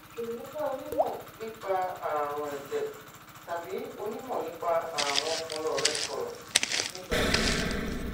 jọwọ bá onímọ nípa ààrùn ẹjẹ tàbí onímọ nípa ààrùn ọpọlọ rẹ sọrọ nípa èyí